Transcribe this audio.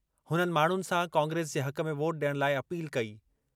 हुननि माण्हुनि सां कांग्रेस जे हक़ में वोट ॾियण लाइ अपील कई।